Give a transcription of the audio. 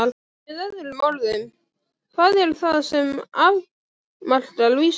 Með öðrum orðum: hvað er það sem afmarkar vísindi?